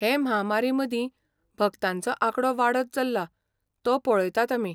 हे म्हामारीमदीं, भक्तांचो आंकडो वाडत चल्ला तो पळयतात आमी.